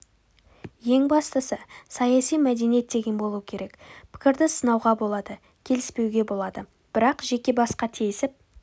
ең бастысы саяси мәдениет деген болуы керек пікірді сынауға болады келіспеуге болады бірақ жеке басқа тиісіп